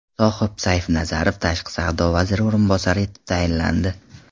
Sohib Saifnazarov Tashqi savdo vaziri o‘rinbosari etib tayinlandi.